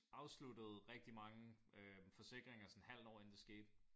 Afsluttede rigtig mange øh forsikringer sådan et halvt år inden det skete